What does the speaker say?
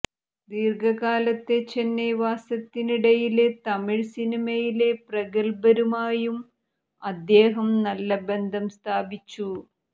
ദീര്ഘകാലത്തെ ചെന്നൈ വാസത്തിനിടയില് തമിഴ് സിനിമയിലെ പ്രഗല്ഭരുമായും അദ്ദേഹം നല്ല ബന്ധം സ്ഥാപിച്ചു